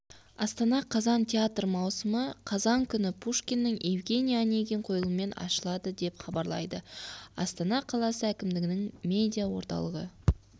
астана қазан театр маусымы қазан күні пушкиннің евгений онегин қойылымымен ашылады деп хабарлайды астана қаласы әкімдігінің медиа орталығы